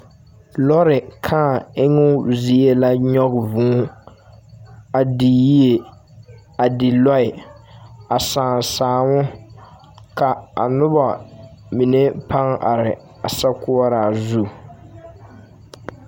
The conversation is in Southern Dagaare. Lɔɔre kãã emmo zie la nyɔge vũũ a di yie, a di lɔɛ a sãã sããmo. Ka a noba mine pãã are a sokoɔraa zu.